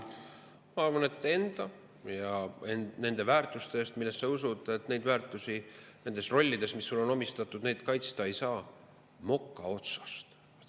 Ma arvan, et nendes rollides, mis sulle on antud, ei saa enda ja nende väärtuste eest, millesse sa usud, seista midagi moka otsast.